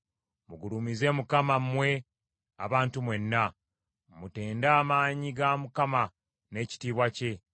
Mugulumize Mukama mmwe ebika eby’amawanga byonna; mutende ekitiibwa kya Mukama awamu n’amaanyi ge.